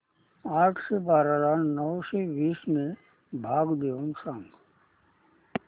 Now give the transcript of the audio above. आठशे बारा ला नऊशे वीस ने भाग देऊन सांग